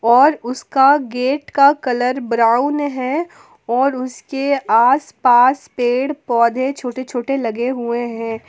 और उसका गेट का कलर ब्राउन है और उसके आसपास पेड़ पौधे छोटे छोटे लगे हुए हैं।